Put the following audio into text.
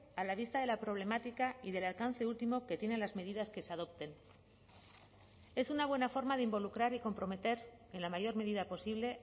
a la vista de la problemática y del alcance último que tienen las medidas que se adopten es una buena forma de involucrar y comprometer en la mayor medida posible